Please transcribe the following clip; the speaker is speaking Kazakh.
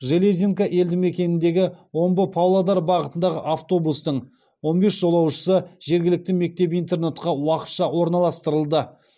железинка елді мекеніндегі омбы павлодар бағытындағы автобустың он бес жолаушысы жергілікті мектеп интернатқа уақытша орналастырылды